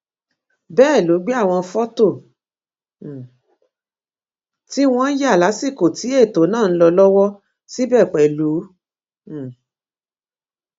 bẹẹ ló gbé àwọn fọtò um tí wọn yà lásìkò tí ètò náà ń lọ lọwọ síbẹ pẹlú um